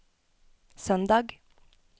søndag